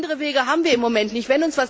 Andere Wege haben wir im Moment nicht.